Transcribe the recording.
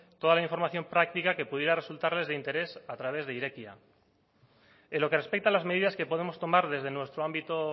toda la información práctica que pudiera resultarles de interés a través de irekia en lo que respecta a las medidas que podemos tomar desde nuestro ámbito